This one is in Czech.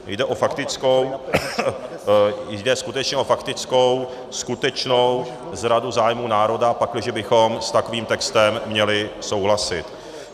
Jde skutečně o faktickou skutečnou zradu zájmů národa, pakliže bychom s takovým textem měli souhlasit.